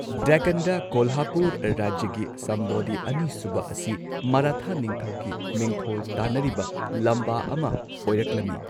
ꯗꯦꯛꯀꯥꯟꯗ ꯀꯣꯂꯍꯥꯄꯨꯔ ꯔꯥꯖ꯭ꯌꯒꯤ ꯁꯝꯚꯥꯖꯤ ꯑꯅꯤꯁꯨꯕ ꯑꯁꯤ ꯃꯔꯥꯊꯥ ꯅꯤꯡꯊꯧꯒꯤ ꯃꯤꯡꯊꯣꯜ ꯇꯥꯟꯅꯔꯤꯕ ꯂꯝꯕꯥ ꯑꯃ ꯑꯣꯏꯔꯛꯂꯝꯃꯤ꯫